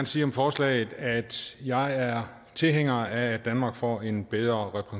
sige om forslaget at jeg er tilhænger af at danmark får en bedre